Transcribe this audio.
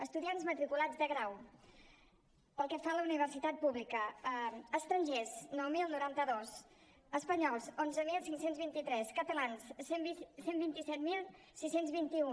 estudiants matriculats de grau pel que fa a la universitat pública estrangers nou mil noranta dos espanyols onze mil cinc cents i vint tres catalans cent i vint set mil sis cents i vint un